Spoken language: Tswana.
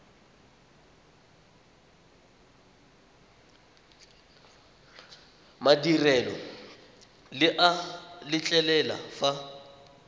madirelo le a letlelela fa